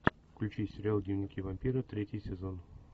включи сериал дневники вампира третий сезон